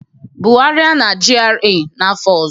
Bugharịa na GRA n'afọ ọzọ